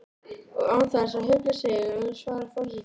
Og án þess að hugsa sig um svarar forsetinn